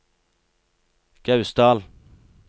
Gausdal